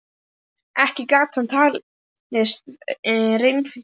Ekki gat hann nú talist reffilegur.